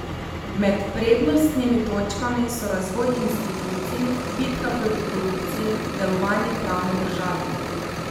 Med prednostnimi točkami so razvoj institucij, bitka proti korupciji, delovanje pravne države.